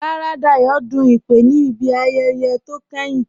Rárá, Dáyọ̀ dún ìpè ní ibi ayẹyẹ̀ tí o kẹ́hìn